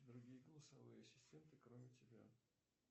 другие голосовые ассистенты кроме тебя